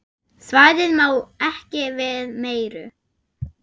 Svæðið má ekki við meiru.